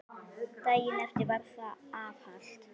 Daginn eftir var það var afhalt.